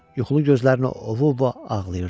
Yuxulu gözlərini ovub ağlayırdı.